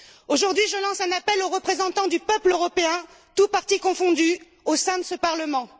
Aujourd'hui, je lance un appel aux représentants du peuple européen, tous partis confondus, au sein de ce Parlement.